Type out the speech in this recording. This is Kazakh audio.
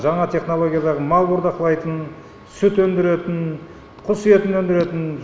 жаңа жаңа технологиядағы мал бордақылайытын сүт өндіретін құс етін өндіретін